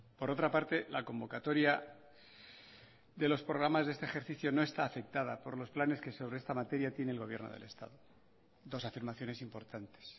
por otra parte la convocatoria de los programas de este ejercicio no está afectada por los planes que sobre esta materia tiene el gobierno del estado dos afirmaciones importantes